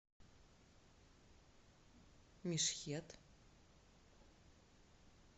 мешхед